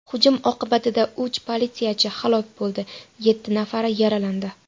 Hujum oqibatida uch politsiyachi halok bo‘ldi, yetti nafari yaralandi.